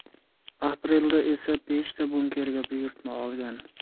Aprelda esa beshta bunkerga buyurtma olgan.